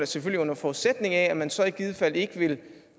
selvfølgelig under forudsætning af at man så i givet fald ikke vil